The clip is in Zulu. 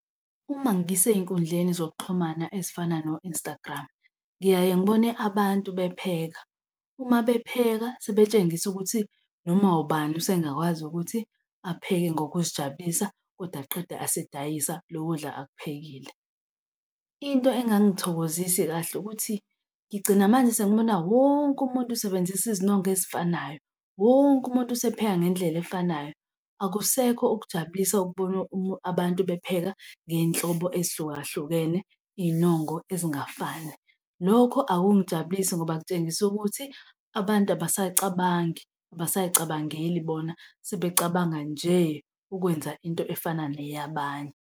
Uma ngisey'nkundleni zokuxhumana ezifana no-Instagram ngiyaye ngibone abantu bepheka, uma bepheka sebetshengisa ukuthi noma ubani usengakwazi ukuthi apheke ngokuzijabulisa kodwa aqede asedayisa lo kudla akuphekile. Into engangithokozisi kahle ukuthi ngigcina manje sengibona wonke umuntu usebenzisa izinongo ezifanayo, wonke umuntu usepheka ngendlela efanayo. Akusekho ukujabulisa ukubona abantu bepheka ngey'nhlobo ezihlukahlukene, iy'nongo ezingafani. Lokho akungijabulisi ngoba kutshengisa ukuthi abantu abasacabangi abasayicabangeli bona sebecabanga nje ukwenza into efana neyabanye.